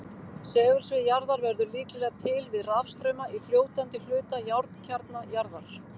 Segulsvið jarðar verður líklega til við rafstrauma í fljótandi hluta járnkjarna jarðar.